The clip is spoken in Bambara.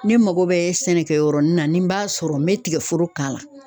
Ne mako bɛ sɛnɛkɛ yɔrɔnin na ni n b'a sɔrɔ n bɛ tigɛforo k'a la.